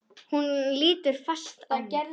Hún lítur fast á mig.